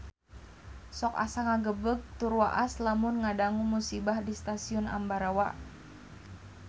Sok asa ngagebeg tur waas lamun ngadangu musibah di Stasiun Ambarawa